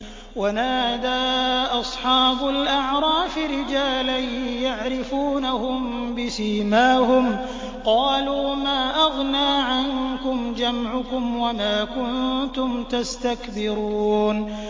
وَنَادَىٰ أَصْحَابُ الْأَعْرَافِ رِجَالًا يَعْرِفُونَهُم بِسِيمَاهُمْ قَالُوا مَا أَغْنَىٰ عَنكُمْ جَمْعُكُمْ وَمَا كُنتُمْ تَسْتَكْبِرُونَ